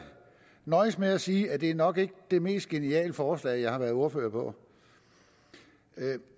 nøjes med at sige at det nok ikke det mest geniale forslag jeg har været ordfører på